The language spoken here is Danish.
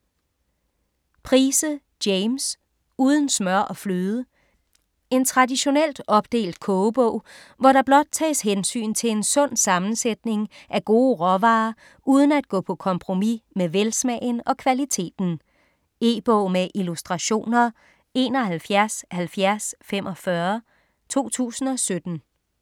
Price, James: Uden smør og fløde En traditionelt opdelt kogebog, hvor der blot tages hensyn til en sund sammensætning af gode råvarer uden at gå på kompromis med velsmagen og kvaliteten. E-bog med illustrationer 717045 2017.